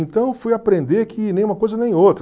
Então eu fui aprender que nem uma coisa nem outra.